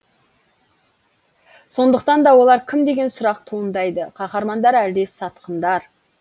сондықтан да олар кім деген сұрақ туындайды қаһармандар әлде сатқындар